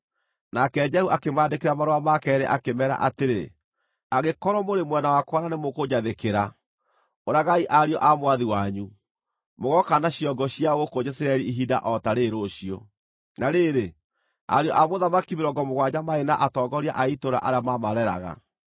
Nake Jehu akĩmaandĩkĩra marũa ma keerĩ akĩmeera atĩrĩ, “Angĩkorwo mũrĩ mwena wakwa na nĩmũkũnjathĩkĩra, ũragai ariũ a mwathi wanyu, mũgooka na ciongo ciao gũkũ Jezireeli ihinda o ta rĩĩrĩ rũciũ.” Na rĩrĩ, ariũ a mũthamaki mĩrongo mũgwanja maarĩ na atongoria a itũũra arĩa maamareraga.